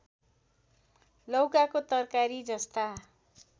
लौकाको तरकारी जस्ता